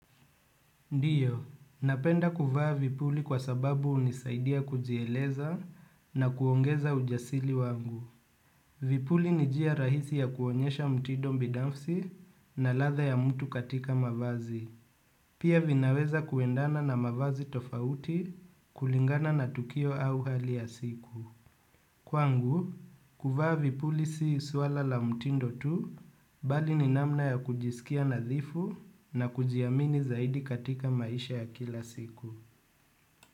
Ndiyo, napenda kuvaa vipuli kwa sababu unisaidia kujieleza na kuongeza ujasiri wangu. Vipuli ni njia rahisi ya kuonyesha mtindo binafsi na ladha ya mtu katika mavazi. Pia vinaweza kuendana na mavazi tofauti kulingana na tukio au hali ya siku. Kwangu, kuvaa vipuli si swala la mtindo tu, bali ni namna ya kujisikia nadhifu na kujiamini zaidi katika maisha ya kila siku.